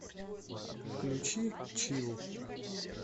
включи чилл